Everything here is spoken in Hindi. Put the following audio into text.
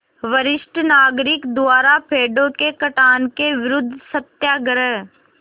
वरिष्ठ नागरिक द्वारा पेड़ों के कटान के विरूद्ध सत्याग्रह